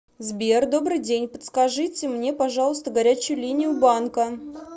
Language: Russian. сбер добрый день подскажите мне пожалуйста горячую линию банка